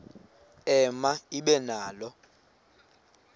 ema ibe nalo